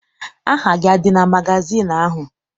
Aha gị adị na magazịịnụ ahụ?